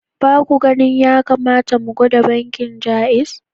Ba ku ganin ya kamata mu gwada bankin Jaiz?